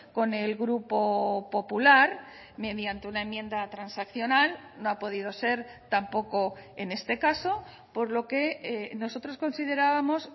con el grupo popular mediante una enmienda transaccional no ha podido ser tampoco en este caso por lo que nosotros considerábamos